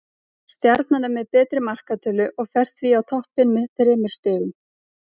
Stjarnan er með betri markatölu og fer því á toppinn með þremur stigum.